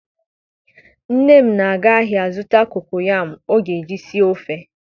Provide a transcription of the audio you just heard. Nne m na-aga ahia zuta kokoyam o ga-eji sie ofe